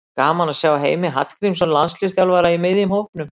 Gaman að sjá Heimi Hallgrímsson landsliðsþjálfara í miðjum hópnum.